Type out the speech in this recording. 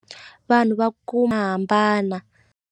Vanhu va ku hambana.